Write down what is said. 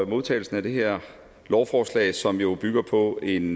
modtagelsen af det her lovforslag som jo bygger på en